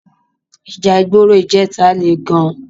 Íjà igbóró ijètá lé gán